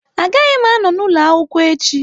Agaghị m anọ n'ụlọ akwụkwọ echi